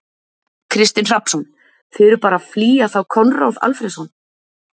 Kristinn Hrafnsson: Þið eruð bara flýja þá Konráð Alfreðsson?